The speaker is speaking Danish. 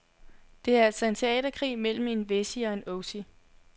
Det er altså en teaterkrig mellem en wessie og en ossie.